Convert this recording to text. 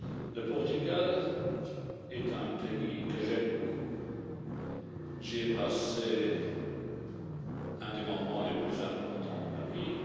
Le Portugal est un pays que j'aime beaucoup, j'y ai passé l'un des moments les plus importants de ma vie.